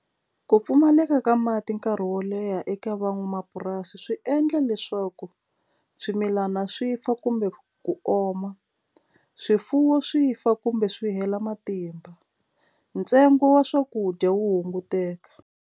Ku pfumaleka ka mati nkarhi wo leha eka van'wamapurasi swi endla leswaku swimilana swi fa kumbe ku oma swifuwo swi fa kumbe swi hela matimba ntsengo wa swakudya wu hunguteka.